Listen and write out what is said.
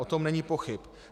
O tom není pochyb.